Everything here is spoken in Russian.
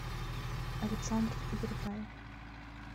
александр юртаев